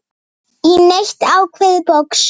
í neitt ákveðið box.